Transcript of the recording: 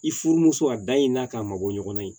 I furumuso a da i n'a k'a mabɔ ɲɔgɔnna ye